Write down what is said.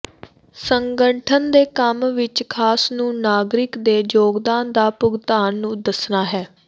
ਸੰਗਠਨ ਦੇ ਕੰਮ ਵਿੱਚ ਖਾਸ ਨੂੰ ਨਾਗਰਿਕ ਦੇ ਯੋਗਦਾਨ ਦਾ ਭੁਗਤਾਨ ਨੂੰ ਦੱਸਣਾ ਹੈ